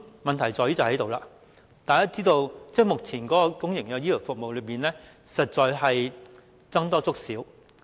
問題便在於此，大家知道，目前的公營醫療服務實在是"僧多粥少"。